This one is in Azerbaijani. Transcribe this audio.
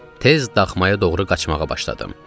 Tez daxmaya doğru qaçmağa başladım.